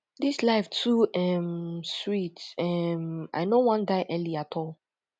dis life too um sweet um i no wan die early at all